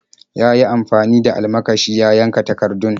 Ya yi amfani da almakashin ya yanka takardun.